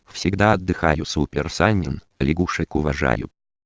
всегда отдыхаю супер санин лягушек уважаю